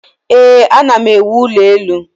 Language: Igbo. ee, ana m ewu ụlọ elu